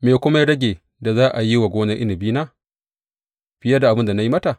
Me kuma ya rage da za a yi wa gonar inabina fiye da abin da na yi mata?